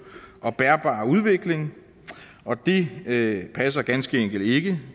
og bærbar udvikling det passer ganske enkelt ikke